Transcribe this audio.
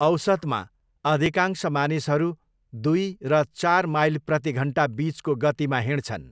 औसतमा, अधिकांश मानिसहरू दुई र चार माइल प्रतिघन्टा बिचको गतिमा हिँड्छन्।